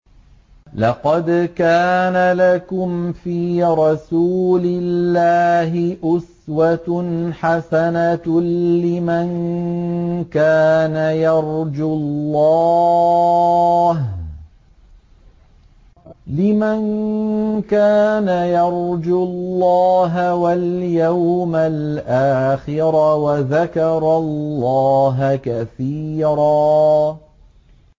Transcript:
لَّقَدْ كَانَ لَكُمْ فِي رَسُولِ اللَّهِ أُسْوَةٌ حَسَنَةٌ لِّمَن كَانَ يَرْجُو اللَّهَ وَالْيَوْمَ الْآخِرَ وَذَكَرَ اللَّهَ كَثِيرًا